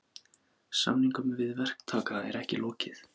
Samningum við verktaka er ekki lokið